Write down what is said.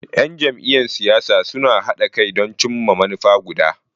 Yan jam'iyyar siyasa suna haɗa kai don cimma manufa guda.